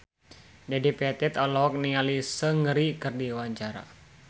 Dedi Petet olohok ningali Seungri keur diwawancara